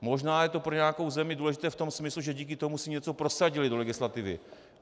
Možná je to pro nějakou zemi důležité v tom smyslu, že díky tomu si něco prosadila do legislativy.